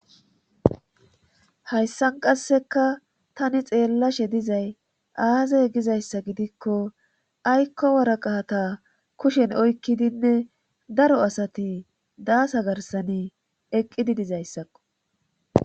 hayssan qasseka tani xeellashe dizay aazay gizayssa gidikko aykko waraqata kushen oykkidinne daro asati daasa garsani eqqidi dizayssakko